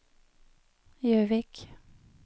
Gjøvik